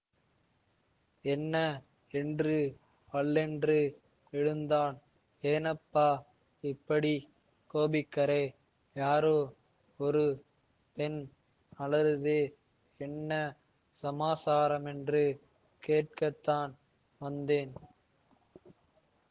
என்ன என்று வள்ளென்று விழுந்தான் ஏனப்பா இப்படி கோபிக்கறே யாரோ ஒரு பெண் அலறுதே என்ன சமாசாரமென்று கேட்கத்தான் வந்தேன்